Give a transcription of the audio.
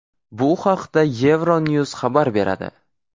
Bu haqda Euronews xabar beradi .